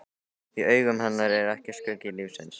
Í augum hennar er ég skuggi lífsins.